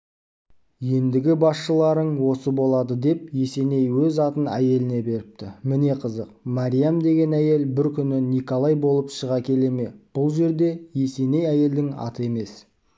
ендігі басшыларын осы болады деп есеней өз атын әйеліне беріпті міне қызық мария деген әйел бір күні николай болып шыға келе ме бұл жерде есеней әйелдің аты емес